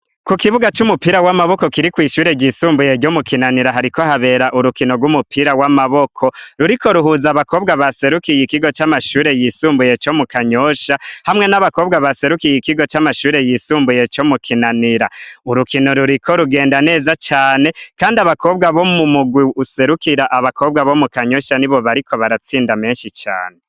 Ku kibuga c'umupira w'amaboko kiri kw'ishure ryisumbuye ryo mu kinanira hariko habera urukino rw'umupira w'amaboko ruriko ruhuza abakobwa baserukiye ikigo c'amashure yisumbuye co mu kanyosha hamwe n'abakobwa baserukiye ikigo c'amashure yisumbuye co mu kinanira urukino ruriko rugenda neza cane, kandi abakobwa bo mu mugwi usere kira abakobwa bo mu kanyosha ni bo bariko baratsinda menshi cane.